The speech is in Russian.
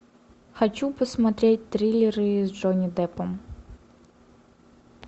хочу посмотреть триллеры с джонни деппом